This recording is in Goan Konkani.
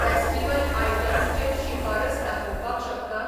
फेस्टिव्हल आयटम्सचेर शिफारस दाखोवपाक शकता?